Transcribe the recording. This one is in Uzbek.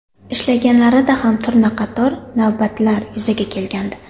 Ishlaganlarida ham turna qator navbatlar yuzaga kelgandi.